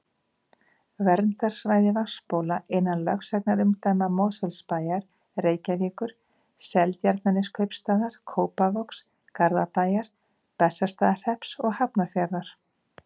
Verndarsvæði vatnsbóla innan lögsagnarumdæma Mosfellsbæjar, Reykjavíkur, Seltjarnarneskaupstaðar, Kópavogs, Garðabæjar, Bessastaðahrepps og Hafnarfjarðar.